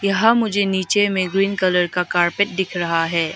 यहां मुझे नीचे में ग्रीन कलर का कारपेट दिख रहा है।